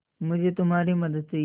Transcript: मुझे तुम्हारी मदद चाहिये